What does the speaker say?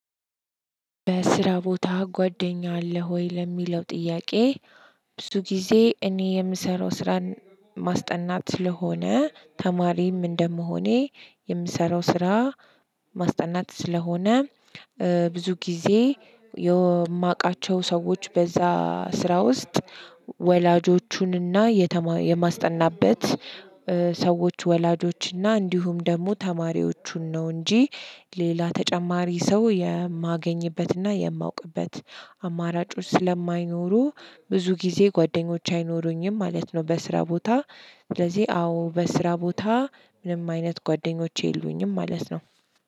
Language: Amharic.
በስራ ቦታ ጓደኛ አለህ ወይ ለሚለው ጥያቄ? ብዙ ጊዜ እኔ የምሰራው ስራ ማስጠናት ስለሆነ ተማሪም እንደመሆኔ የምሰራው ስራ ማስጠናት ስለሆነ ብዙ ጊዜ የማውቃቸው ሰዎች በዛ ስራ ውስጥ ወላጆቹንና የማስጠናበት ሰዎች ወላጆች እና እንዲሁም ደግሞ ተማሪዎቹን ነው እንጂ ሌላ ተጨማሪ ሰው የማገኝበትና የማውቅበት አማራጮች ስለማይኖሩ ብዙ ጊዜ ጓደኞች አይኖሩኝም ማለት ነው። በስራ ቦታ ስለዚህ አዎ በስራ ቦታ ምንም አይነት ጓደኞቼ የሉኝም ማለት ነው።